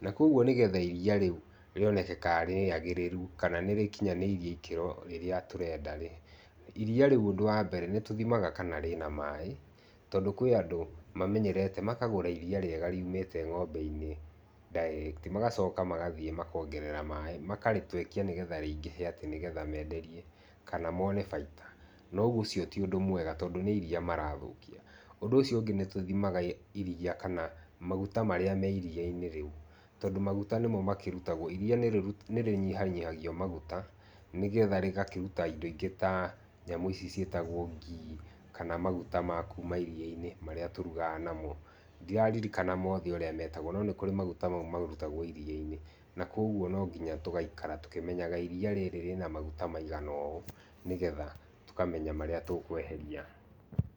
na kũoguo nĩgetha iriia rĩu rĩoneke kana nĩrĩagĩrĩru, kana nirĩkinyanĩirie ikĩro iria tũrenda-rĩ, nĩtũthimaga kana rĩna maĩ tondũ kwĩ andũ mamenyerete makagũra iriia rĩega riumĩte ng'ombe-inĩ direct, magacoka magathiĩ makongerera maĩ, makarĩtwekia nĩgetha rĩingĩhe nĩgetha menderie kana mon baita, no ũguo ũcio ti ũndũ mwega tondũ nĩ iriia marathũkia. Ũndũ ũcio ũngĩ nĩtũthimaga iriia na maguta marĩa me iriia-inĩ rĩu tondũ maguta nĩmo marutagwo, iriia nĩrĩnyihanyihagio maguta nĩgetha rĩgakĩruta indo ingĩ ta ici ciĩtagwo gee kana maguta makuma iriia-inĩ marĩa tũrugaga namo. Ndĩrarikana mothe ũrĩa metagwo, no nĩkũrĩ maguta mau marutagwo iriia-inĩ na kũoguo no nginya tũgaikara tũkĩmenyaga iriia rĩrĩ rĩna maguta maigana ũũ nĩgetha tũkamenya marĩa tũkweheria.